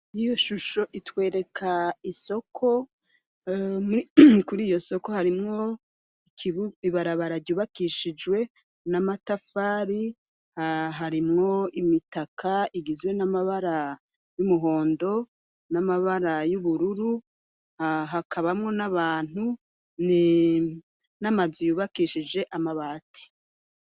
Iyo shusho itwereka isoko. Ku'iyo soko, harimwo ibarabara ryubakishijwe n'amatafari. Harimwo imitaka igizwe namabara y'umuhondo, n'amabara y'ubururu. Hakabamwo n'abantu, n'amazu yubakishije amabati.